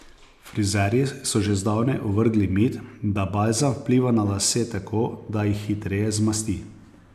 Frizerji so že zdavnaj ovrgli mit, da balzam vpliva na lase tako, da jih hitreje zmasti.